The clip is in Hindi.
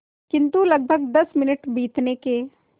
किंतु लगभग दस मिनट बीतने के